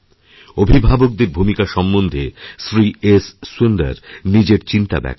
অভিভাবকদের ভূমিকা সম্বন্ধে শ্রী এস সুন্দর নিজের চিন্তাব্যক্ত করেছেন